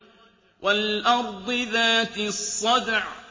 وَالْأَرْضِ ذَاتِ الصَّدْعِ